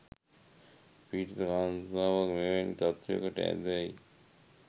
පීඞීත කාන්තාව මෙවැනි තත්ත්වයකට ඈඳයි.